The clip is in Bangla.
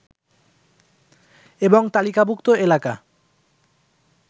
এবং তালিকাভুক্ত এলাকা